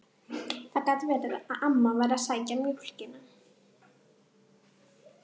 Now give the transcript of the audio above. Það gat verið að amma væri að sækja mjólkina.